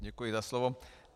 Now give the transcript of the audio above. Děkuji za slovo.